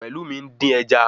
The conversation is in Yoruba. Pelumi ń dín ẹja